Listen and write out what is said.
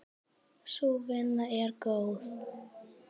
Sú vinna er góð.